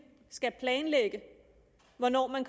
skal planlægge hvornår man